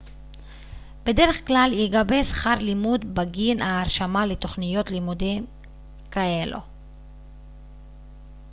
בדרך כלל ייגבה שכר לימוד בגין ההרשמה לתוכניות לימוד כאלו